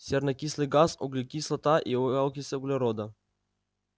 сернокислый газ углекислота и окись углерода